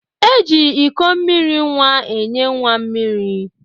E ji iko mmiri nwa enye nwa mmiri.